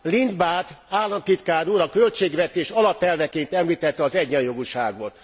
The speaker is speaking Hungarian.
Lindbad államtitkár úr a költségvetés alapelveként említette az egyenjogúságot.